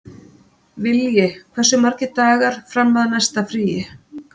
Vilji, hversu margir dagar fram að næsta fríi?